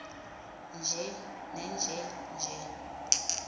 nje nenje nje